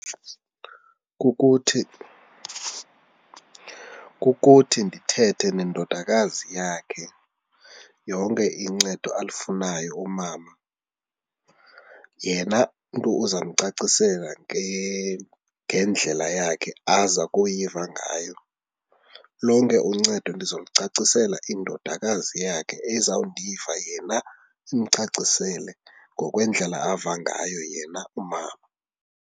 Kukuthi, kukuthi ndithethe nendodakazi yakhe yonke incedo alifunayo umama yena mntu uza uzandicacisela ngendlela yakhe aza akuyiva ngayo. Lonke uncedo ndizolucacisela indodakazi yakhe ezawundiva yena imcacisele ngokwendlela ava ngayo yena umama.